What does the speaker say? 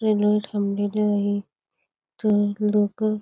railway थांबलेली आहे train local --